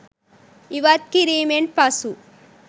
ඉවත් කිරීමෙන් පසු